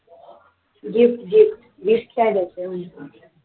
gift gift gift काय घ्यायचं म्हटलं?